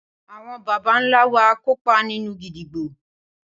Awon baba nla wa kopa ninu gídígbò